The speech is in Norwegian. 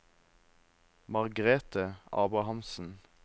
Margrete Abrahamsen